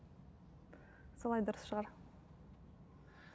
солай дұрыс шығар